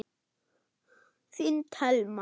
Þín Telma.